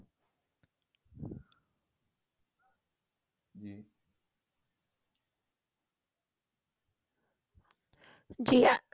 ਜ਼ੀ